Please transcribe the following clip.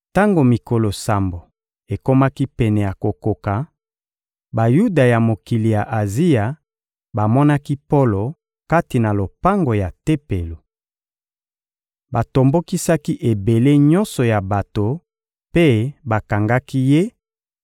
Tango mikolo sambo ekomaki pene ya kokoka, Bayuda ya mokili ya Azia bamonaki Polo kati na lopango ya Tempelo. Batombokisaki ebele nyonso ya bato mpe bakangaki ye